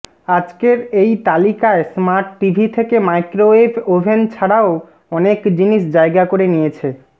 আজকের এই তালিকায় স্মার্টটিভি থেকে মাইক্রোওয়েভ ওভেন ছাড়াও অনেক জিনিস জায়গা করে নিয়েছে